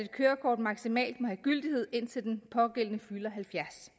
kørekort maksimalt må have gyldighed indtil den pågældende fylder halvfjerds